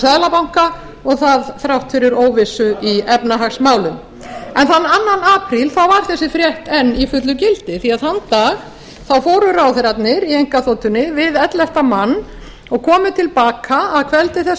seðlabanka og það þrátt fyrir óvissu í efnahagsmálum en þann annan apríl var þessi frétt enn í fullu gildi því að þann dag fóru ráðherrarnir í einkaþotunni við ellefta mann og komu til baka að kvöldi þess